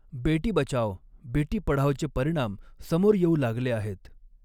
बेटी बचाओ, बेटी पढ़ाओ चे परिणाम समोर येऊ लागले आहेत.